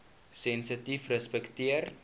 sensitiefrespekteer